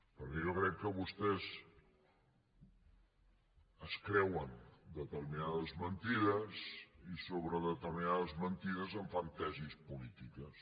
perquè jo crec que vostès es creuen determinades mentides i sobre determinades mentides en fan tesis polítiques